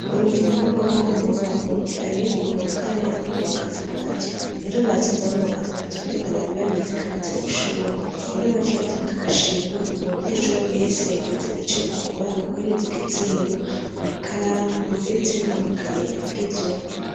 Urukino rw'amaboko nirwo rwahuje abiga muwa kane hamwe no muwa gatandatu. Rero batsinze abo muwa gatandatu kubera bari babizi kandi ivyo babishoboye. Rero baciye batanga agashimwe k'umunyeshure wese yagize ico akora mukwinjiza igitsindo, amakaramu ndetse n'amakaye agezweho.